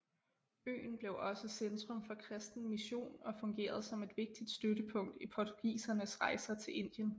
Øen blev også centrum for kristen mission og fungerede som et vigtigt støttepunkt i portugisernes rejser til Indien